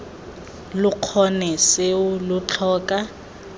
lo kgone seo lo tlhoka